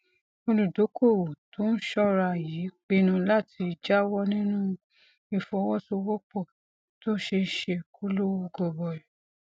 olùdókòwò tó ń ṣóra yìí pinnu láti jáwó nínú ìfọwósowópò tó ṣeé ṣe kó lówó gọbọi